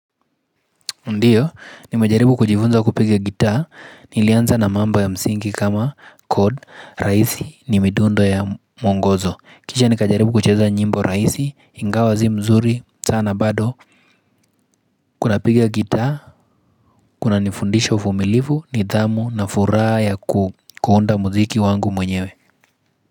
Ndiyo, nimejaribu kujifunza kupiga gitaa, nilianza na mambo ya msingi kama cord, rahisi ni midundo ya mwongozo. Kisha nikajaribu kucheza nyimbo rahisi, ingawa si mzuri, sana bado, kunapiga gitaa, kunanifundisha uvumilivu, nidhamu na furaha ya kuunda muziki wangu mwenyewe.